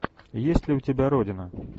есть ли у тебя родина